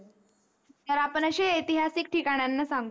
तर आपण अशे एतीहासिक ठिकानणणा सांगू